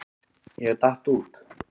Ég datt út.